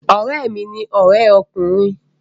Ọ̀rẹ́ mi ní ọrẹ ọkùnrin